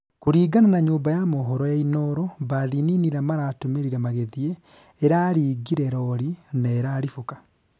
kũringana na nyũmba ya mohoro ya inooro, mbathi nini iria maratũmĩrire magĩthiĩ ĩraringire rori na iraribũka